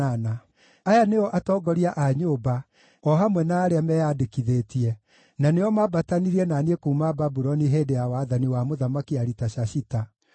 Aya nĩo atongoria a nyũmba o hamwe na arĩa meyandĩkithĩtie, na nĩo mambatanirie na niĩ kuuma Babuloni hĩndĩ ya wathani wa Mũthamaki Aritashashita: